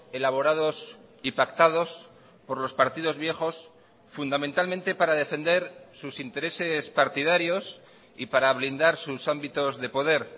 elaborados y pactados por los partidos viejos fundamentalmente para defender sus intereses partidarios y para blindar sus ámbitos de poder